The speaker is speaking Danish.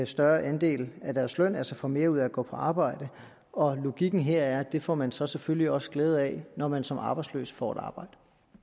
større andel af deres løn altså får mere ud af at gå på arbejde logikken her er at det får man så selvfølgelig også glæde af når man som arbejdsløs får et arbejde